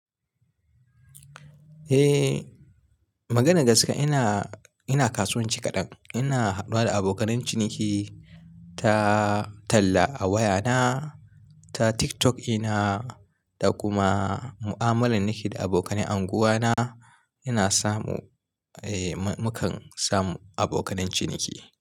Eh, maganar gaske ina, ina kasuwanci kaɗan. Ina haduwa da abokan ciniki ta talla a wayana, ta TikTok ina da kuma mu'amalar nake da abokanan anguwa na ina samu, eh mu kan samu abokan ciniki.